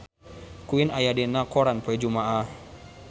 Queen aya dina koran poe Jumaah